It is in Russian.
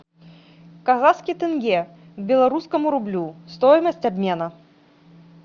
казахский тенге к белорусскому рублю стоимость обмена